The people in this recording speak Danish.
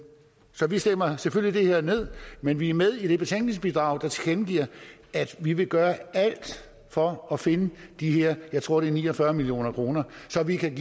så vi stemmer selvfølgelig det her ned men vi er med i det betænkningsbidrag der tilkendegiver at vi vil gøre alt for at finde de her jeg tror det er ni og fyrre million kr så vi kan